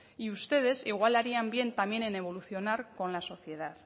y ustedes igual harían bien también en evolucionar con la sociedad